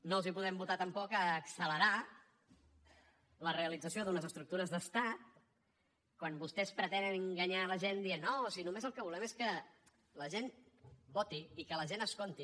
no els podem votar tampoc accelerar la realització d’unes estructures d’estat quan vostès pretenen enganyar la gent dient no si només el que volem és que la gent voti i que la gent es compti